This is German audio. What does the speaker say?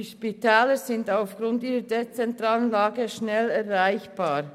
Die Spitäler sind aufgrund ihrer dezentralen Lage gut erreichbar.